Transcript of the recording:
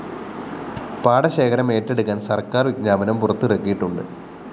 പാടശേഖരം ഏറ്റെടുക്കാന്‍ സര്‍ക്കാര്‍ വിജ്ഞാപനം പുറത്തിറക്കിയിട്ടുണ്ട്